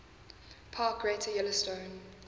park greater yellowstone